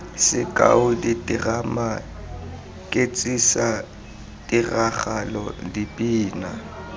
sekao diterama ketsisa tiragalo dipina